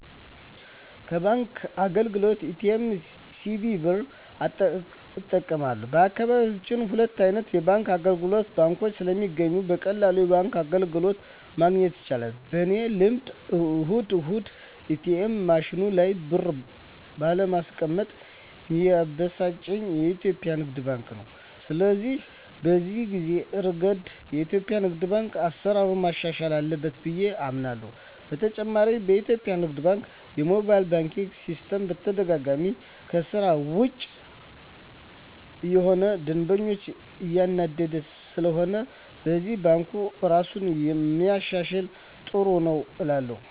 ከባንክ አገልግሎት ኤ.ቲ.ኤም፣ ሲቪ ብር እጠቀማለሁ፣ በአካባቢየ ሁሉም አይነት የባንክ አገልግሎቶችና ባንኮች ስለሚገኙ በቀላሉ የባንክ አገልግሎት ማግኘት ይቻላል። በኔ ልምድ እሁድ እሁድ የኤትኤም ማሽኑ ላይ ብር ባለማስቀመጥ ሚያበሳጨኝ የኢትዮጲያ ንግድ ባንክ ነው። ስለሆነም በዚህ እረገድ የኢትዮጲያ ንግድ ባንክ አሰራሩን ማሻሻል አለበት ብየ አምናለሆ። በተጨማሪም የኢትዮጲያ ንግድ ባንክ የሞባይል ባንኪን ሲስተም በተደጋጋሚ ከስራ ውጭ እየሆነ ደንበኛን እያናደደ ስለሆነም በዚህም ባንኩ እራሱን ቢያሻሽል ጥሩ ነው እላለሁ።